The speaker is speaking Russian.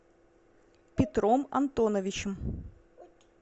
петром антоновичем